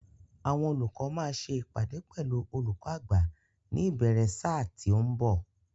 Àwọn olùkọ́ máa ṣe ìpàdé pẹ̀lú olùkó àgbà ní ìbéèrè ṣáà tí ó ń bọ̀.